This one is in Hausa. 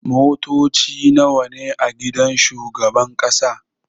Motoci nawa ne a gidan shugaban ƙasa?